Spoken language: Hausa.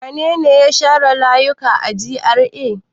Wane ne ya share layuka a GRA?